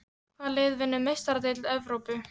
Hvað lið vinnur Meistaradeild Evrópu?